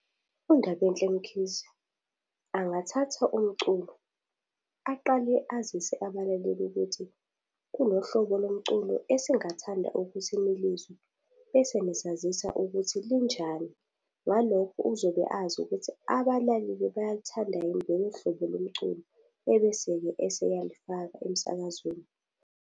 UNdabenhle Mkhize, angathatha umculo aqale azise abalaleli ukuthi kunobuhlobo lomculo esingathanda ukuthi nilizwe, bese nisazisa ukuthi linjani. Ngalokho uzobe azi ukuthi abalaleli bayaluthanda yini lolo hlobo lomculo, ebese-ke eseyalufaka emsakazweni.